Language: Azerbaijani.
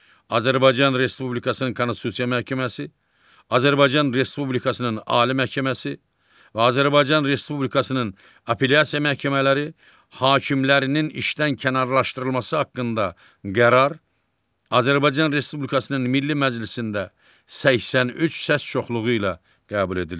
Azərbaycan Respublikasının Konstitusiya Məhkəməsi, Azərbaycan Respublikasının Ali Məhkəməsi və Azərbaycan Respublikasının Apellyasiya məhkəmələri hakimlərinin işdən kənarlaşdırılması haqqında qərar Azərbaycan Respublikasının Milli Məclisində 83 səs çoxluğu ilə qəbul edilir.